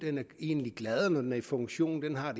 egentlig er gladere når den er i funktion den har